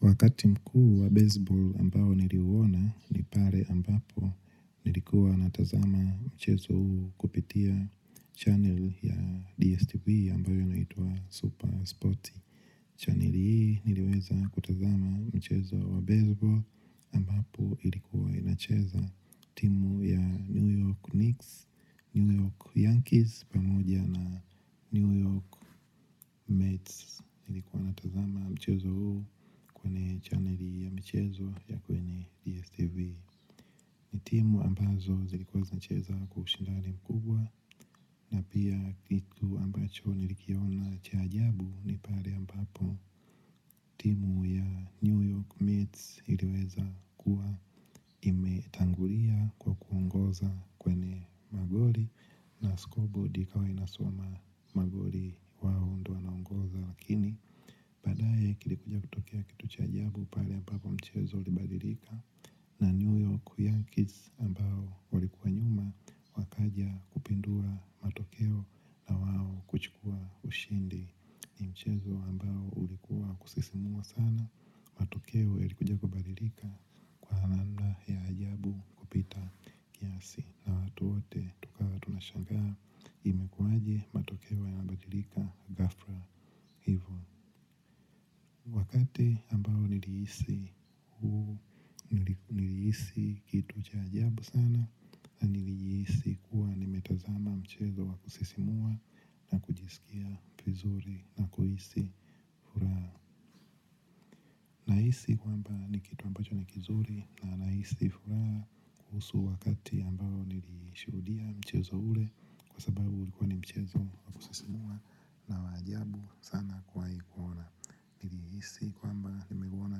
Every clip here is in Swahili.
Wakati mkuu wa baseball ambao niliuona, ni pale ambapo nilikuwa natazama mchezo huu kupitia channel ya DSTV ambayo inaitwa Supersport. Channel hii niliweza kutazama mchezo wa baseball ambapo ilikuwa inacheza timu ya New York Knicks, New York Yankees, pamoja na New York Mets. Nilikuwa natazama mchezo huu kwenye channel ya mchezo ya kwenye DSTV. Ni timu ambazo zilikuwa zinacheza kwa ushindani mkubwa na pia kitu ambacho nilikiona cha jabu ni pale ambapo timu ya New York Mates iliweza kuwa imetangulia kwa kuongoza kwenye magoli na score board ikawa inasoma magoli wao ndio wanaongoza lakini baadaye kilikuja kutokea kitu cha ajabu pale ambapo mchezo ulibadilika na New York Yankees ambao walikuwa nyuma wakaja kupindua matokeo na wao kuchukua ushindi ni mchezo ambao ulikuwa wa kusisimua sana. Matokeo yalikuja kubadilika kwa namna ya ajabu kupita kiasi na watu wote tukawa tunashangaa imekuaje matokeo yanabadilika ghafla hivo. Wakati ambao nilihisi huu nilihisi kitu cha ajabu sana na nilijihisi kuwa nimetazama mchezo wa kusisimua na kujisikia vizuri na kuhisi furaha. Nahisi kwamba ni kitu ambacho ni kizuri na nahisi furaha kuhusu wakati ambao niliishuhudia mchezo ule kwa sababu ulikuwa ni mchezo wa kusisimua na wa ajabu sana kuwahi kuona. Nilihisi kwamba nimeuona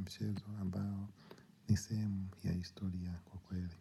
mchezo ambao ni sehemu ya historia kwa kweli.